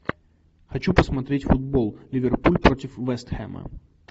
хочу посмотреть футбол ливерпуль против вест хэма